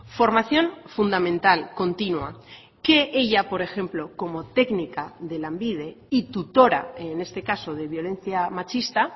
formación fundamental continua que ella por ejemplo como técnica de lanbide y tutora en este caso de violencia machista